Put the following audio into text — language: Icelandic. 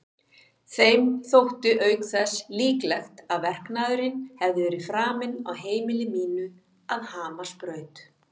Þeim þótti auk þess líklegt að verknaðurinn hefði verið framinn á heimili mínu að Hamarsbraut.